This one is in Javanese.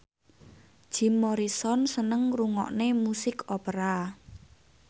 Jim Morrison seneng ngrungokne musik opera